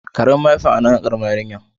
karba mayafin a han'nu karamar yarinyan.